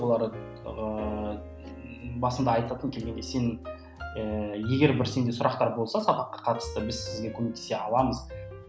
олар ыыы басында айтатын келгенде сен ііі егер бір сенде сұрақтар болса сабаққа қатысты біз сізге көмектесе аламыз